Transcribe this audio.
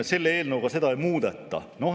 Selle eelnõuga seda ei muudeta.